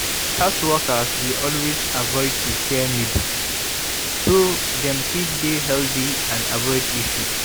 health workers dey always avoid to share needle so dem fit dey healthy and avoid issue